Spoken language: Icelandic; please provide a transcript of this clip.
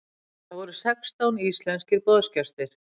Þar voru sextán íslenskir boðsgestir.